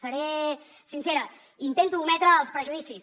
seré sincera intento ometre els prejudicis